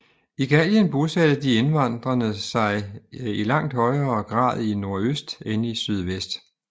I Gallien bosatte de invaderende sig i langt højere grad i nordøst end i sydvest